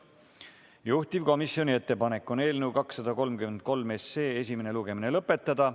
Juhtivkomisjoni ettepanek on eelnõu 233 esimene lugemine lõpetada.